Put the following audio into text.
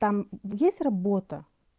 там есть работа